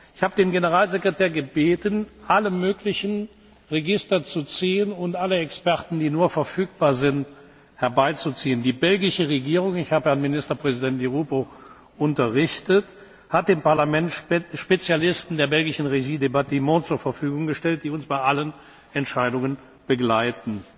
war. Ich habe den Generalsekretär gebeten, alle möglichen Register zu ziehen und alle Experten, die nur verfügbar sind, hinzuzuziehen. Die belgische Regierung ich habe Herrn Ministerpräsiden Di Rupo unterrichtet hat dem Parlament Spezialisten der belgischen Régie des Bâtiments zur Verfügung gestellt, die uns bei allen Entscheidungen begleiten.